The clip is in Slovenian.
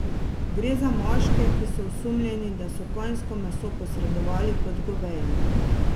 Gre za moške, ki so osumljeni, da so konjsko meso posredovali kot goveje.